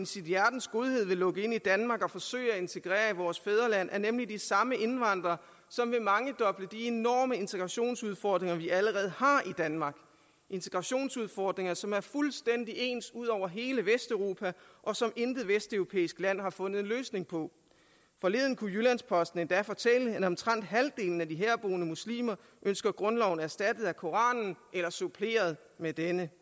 sit hjertes godhed vil lukke ind i danmark og forsøge at integrere i vores fædreland er nemlig de samme indvandrere som vil mangedoble de enorme integrationsudfordringer vi allerede har i danmark integrationsudfordringer som er fuldstændig ens ud over hele vesteuropa og som intet vesteuropæisk land har fundet en løsning på forleden kunne jyllands posten endda fortælle at omtrent halvdelen af de herboende muslimer ønsker grundloven erstattet af koranen eller suppleret med denne